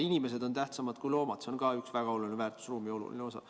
Inimesed on tähtsamad kui loomad, ka see on üks väga oluline väärtusruumi osa.